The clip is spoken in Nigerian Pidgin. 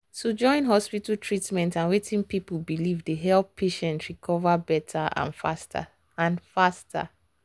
to join hospital treatment and wetin people believe dey help patient recover better and faster. and faster.